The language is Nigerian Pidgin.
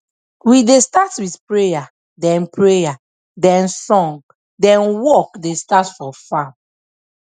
we da start with prayer then prayer then song then work da start for farm